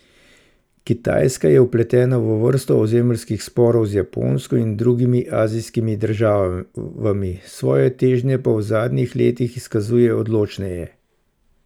Kitajska je vpletena v vrsto ozemeljskih sporov z Japonsko in drugimi azijskimi državami, svoje težnje pa v zadnjih letih izkazuje odločneje.